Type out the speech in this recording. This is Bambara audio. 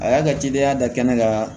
A y'a ka cidenya da kɛnɛ kan